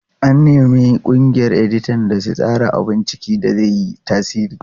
An nemi ƙungiyar editan da su tsara abun ciki da zai yi tasiri.